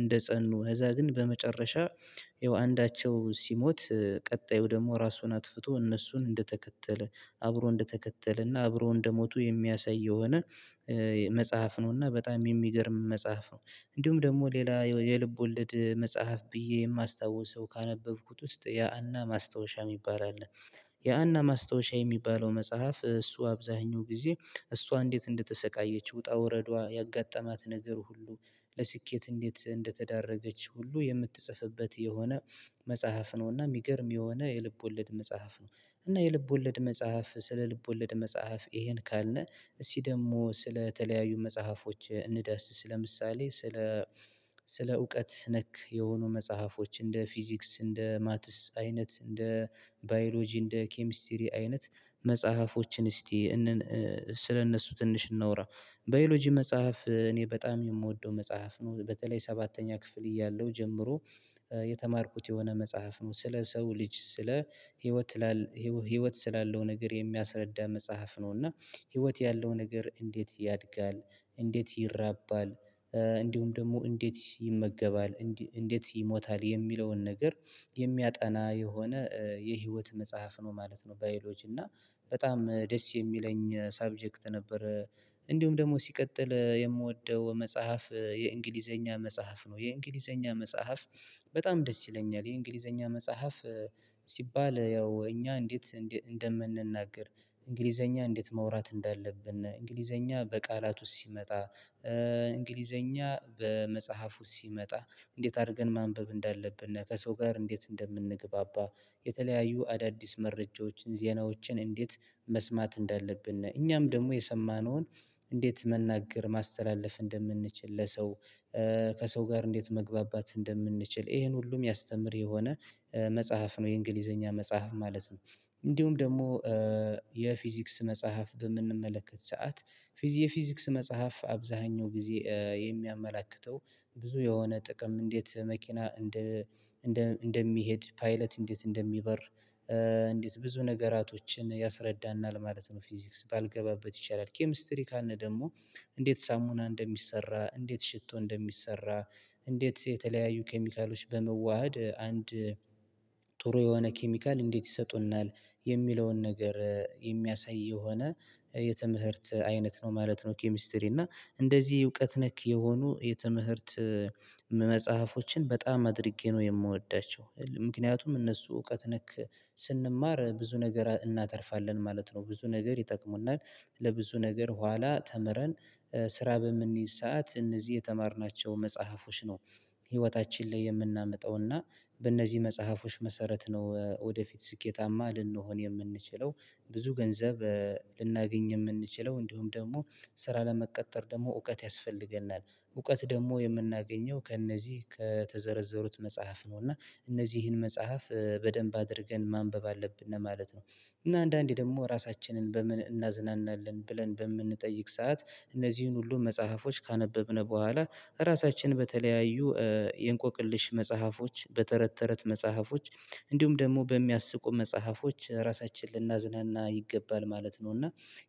እንደጸኑ እዛ ግን በመጨረሻ ያው አንዳቸው ሲሞት ቀጣዩ ደግሞ ራሱን አጥፍቶ እነሱን እንደተከተለ አብሮ እንደተከተለና አብሮ እንደሞቱ የሚያሳይ የሆነ። መጽሐፍ ነው እና በጣም የሚገርም መጽሐፍ ነው። እንዲሁም ደግሞ ሌላ የልብ ወለድ መጽሐፍ ብዬ የማስታውሰው ካነበብኩት ውስጥ ያአና ማስታወሻ የሚባል አለ። የአና ማስታወሻ የሚባለው መጽሐፍ እሱ አብዛኛው ጊዜ እሷ እንዴት እንደተሰቃየች ውጣ ውረዷ ያጋጠማት ነገር ሁሉ ለስኬት እንዴት እንደተዳረገች ሁሉ የምትጽፍበት የሆነ መጽሐፍ ነው። እና የሚገርም የሆነ የልብ ወለድ መጽሐፍ ነው። እና የልብ ወለድ መጽሐፍ ስለ ልብ ወለድ መጽሐፍ ይሄን ካልነ እስቲ ደግሞ ስለተለያዩ መጽሐፎች እንዳስስ ለምሳሌ ስለ። ስለ እውቀት ነክ የሆኑ መጽሐፎች እንደ ፊዚክስ እንደ ማትስ አይነት እንደ ባዮሎጂ እንደ ኬሚስትሪ አይነት መጽሐፎችን እስቲ። ስለእነሱ ትንሽ እናውራ። ባዮሎጂ መጽሐፍ እኔ በጣም የምወደው መጽሐፍ ነው በተለይ ሰባተኛ ክፍል እያለሁ ጀምሮ። የተማርኩት የሆነ መጽሐፍ ነው። ስለ ሰው ልጅ ስለ ህይወት። ህይወት ስላለው ነገር የሚያስረዳ መጽሐፍ ነው። እና ህይወት ያለው ነገር እንዴት ያድጋል እንዴት ይራባል። እንዲሁም ደግሞ እንዴት ይመገባል እንዴት ይሞታል የሚለውን ነገር የሚያጠና የሆነ የህይወት መጽሐፍ ነው ማለት ነው። ባዮሎጂ እና በጣም ደስ የሚለኝ ሳብጀክት ነበር። እንዲሁም ደግሞ ሲቀጥል የምወደው መጽሐፍ የእንግሊዘኛ መጽሐፍ ነው የእንግሊዘኛ መጽሐፍ። በጣም ደስ ይለኛል የእንግሊዘኛ መጽሐፍ። ሲባል ያው እኛ እንዴት እንደምንናገር እንግሊዘኛ እንዴት ማውራት እንዳለብነ እንግሊዘኛ በቃላት ውስጥ ሲመጣ። እንግሊዘኛ በመጽሐፍ ውስጥ ሲመጣ። እንዴት አድርገን ማንበብ እንዳለብን ከሰው ጋር እንዴት እንደምንግባባ የተለያዩ አዳዲስ መረጃዎችን ዜናዎችን እንዴት መስማት እንዳለብን እኛም ደግሞ የሰማነውን እንዴት መናገር ማስተላለፍ እንደምንችል ለሰው። ከሰው ጋር እንዴት መግባባት እንደምንችል ይሄን ሁሉም የሚያስተምር የሆነ መጽሐፍ ነው የእንግሊዘኛ መጽሐፍ ማለት ነው። እንዲሁም ደግሞ የፊዚክስ መጽሐፍ በምንመለከት ሰዓት? የፊዚክስ መጽሐፍ አብዛኛው ጊዜ የሚያመላክተው ብዙ የሆነ ጥቅም እንዴት መኪና እንደ እንደ እንደሚሄድ ፓይለት እንዴት እንደሚበር። እንዴት ብዙ ነገራቶችን ያስረዳናል ማለት ነው። ፊዚክስ ባልገባበት ይቻላል ኬሚስትሪ ካልነ ደግሞ። እንዴት ሳሙና እንደሚሰራ እንዴት ሽቶ እንደሚሰራ። እንዴት የተለያዩ ኬሚካሎች በመዋሃድ አንድ ጥሩ የሆነ ኬሚካል እንዴት ይሰጡናል። የሚለውን ነገር የሚያሳይ የሆነ የትምህርት አይነት ነው ማለት ነው። ኬሚስትሪ እና እንደዚህ እውቀት ነክ የሆኑ የትምህርት። መጽሐፎችን በጣም አድርጌ ነው የምወዳቸው ምክንያቱም እነሱ እውቀት ነክ ስንማር ብዙ ነገር እናተርፋለን ማለት ነው ብዙ ነገር ይጠቅሙናል። ለብዙ ነገር ኋላ ተምረን ስራ በምንይዝ ሰዓት እነዚህ የተማርናቸው መጽሐፎች ነው። ህይወታችን ላይ የምናመጣው እና በእነዚህ መጽሐፎች መሰረት ነው ወደፊት ስኬታማ ልንሆን የምንችለው። ብዙ ገንዘብ ልናገኝ የምንችለው እንዲሁም ደግሞ ስራ ለመቀጠር ደግሞ እውቀት ያስፈልገናል እውቀት ደግሞ የምናገኘው ከእነዚህ ከተዘረዘሩት መጽሐፍ ነው እና እነዚህን መጽሐፍ በደንብ አድርገን ማንበብ አለብን ለማለት ነው። እና አንዳንዴ ደግሞ ራሳችንን በምን እናዝናናለን ብለን በምንጠይቅ ሰዓት እነዚህን ሁሉ መጽሐፎች ካነበብን በኋላ። ራሳችን በተለያዩ የእንቆቅልሽ መጽሐፎች በተረት ተረት መጽሐፎች። እንዲሁም ደግሞ በሚያስቁ መጽሐፎች ራሳችንን ልናዝናና ይገባል ማለት ነው። እና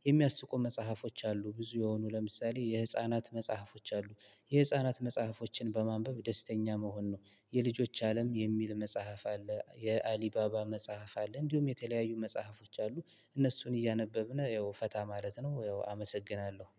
የሚያስቁ መጽሐፎች አሉ ብዙ የሆኑ ለምሳሌ የህፃናት መጽሐፎች አሉ። የህፃናት መጽሐፎችን በማንበብ ደስተኛ መሆን ነው። የልጆች አለም የሚል መጽሐፍ አለ የአሊባባ መጽሐፍ አለ እንዲሁም የተለያዩ መጽሐፎች አሉ። እነሱን እያነበብን ያው ፈታ ማለት ነው ያው አመሰግናለሁ።